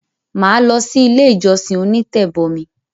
Mà á lọsí ilé ìjọsìn “onítẹ̀bọmi”.